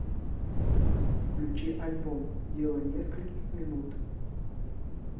включи альбом дело нескольких минут